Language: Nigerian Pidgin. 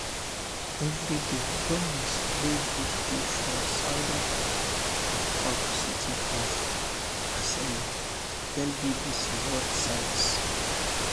every day gomis wey go school for southern port city of marseille tell bbc world service